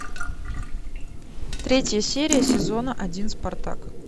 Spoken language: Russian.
третья серия сезона один спартак